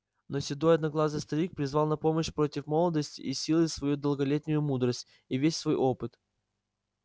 но седой одноглазый старик призвал на помощь против молодости и силы свою долголетнюю мудрость и весь свой опыт